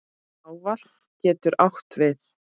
Áfall getur átt við